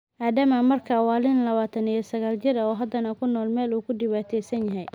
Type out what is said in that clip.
Adama marka wa nin lawantan iyo saqal jiir ah oo hadana kunolol mel uukudiwantesanyahy.